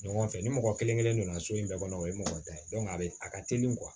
Ɲɔgɔn fɛ ni mɔgɔ kelen kelen donna so in bɛɛ kɔnɔ o ye mɔgɔ ta ye a bɛ a ka teli